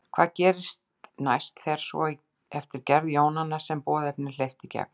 Hvað gerist næst fer svo eftir gerð jónanna sem boðefnin hleyptu í gegn.